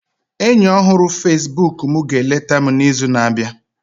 enyi ọhụrụ Facebook m ga-eleta m n'izu na-abịa